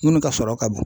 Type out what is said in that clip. Minnu ka sɔrɔ ka bon